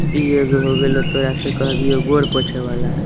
इ एगो हो गइलो तोरा से केह दियो गोर पोछे वाला हैय।